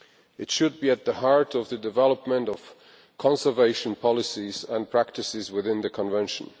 It should be at the heart of the development of conservation policies and practices within the Convention.